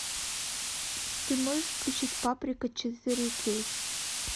ты можешь включить паприка четыре кей